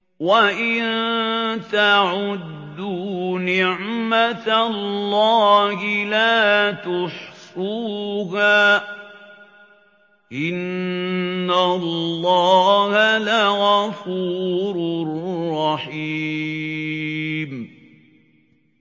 وَإِن تَعُدُّوا نِعْمَةَ اللَّهِ لَا تُحْصُوهَا ۗ إِنَّ اللَّهَ لَغَفُورٌ رَّحِيمٌ